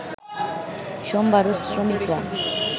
সোমবারও শ্রমিকরা